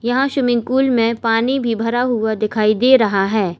यहां swimming pool में पानी भी भरा हुआ दिखाई दे रहा है।